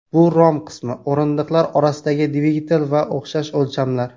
Bu rom qismi, o‘rindiqlar orasidagi dvigatel va o‘xshash o‘lchamlar.